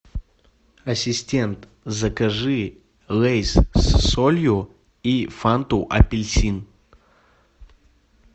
ассистент закажи лейс с солью и фанту апельсин